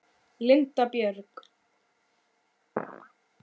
Linda Björg.